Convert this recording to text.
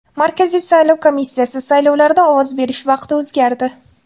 Markaziy saylov komissiyasi: Saylovlarda ovoz berish vaqti o‘zgardi.